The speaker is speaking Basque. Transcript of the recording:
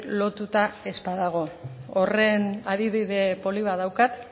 lotuta ez badago horren adibide polit bat daukat